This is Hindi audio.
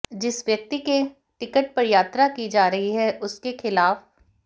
जिस व्यक्ति के टिकट पर यात्रा की जा रही है उसके खिलाफ